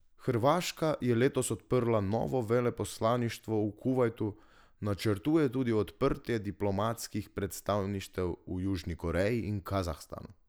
Hrvaška je letos odprla novo veleposlaništvo v Kuvajtu, načrtuje tudi odprtje diplomatskih predstavništev v Južni Koreji in Kazahstanu.